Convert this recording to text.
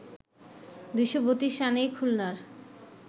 ২৩২ রানেই খুলনার